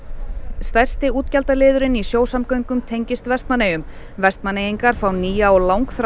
stærsti útgjaldaliðurinn í sjósamgöngum tengist Vestmannaeyjum Vestmannaeyingar fá nýja